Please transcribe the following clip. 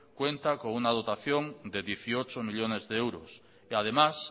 cuenta con una dotación de dieciocho millónes de euros que además